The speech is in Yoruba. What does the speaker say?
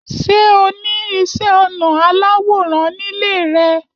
Ṣé o ní iṣẹ́-ọnà aláwò rán nílé rẹ?